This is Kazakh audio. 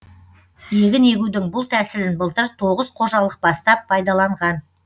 егін егудің бұл тәсілін былтыр тоғыз қожалық бастап пайдаланған